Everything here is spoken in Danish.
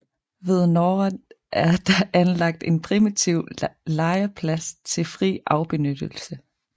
Ved noret er der anlagt en primitiv lejrplads til fri afbenyttelse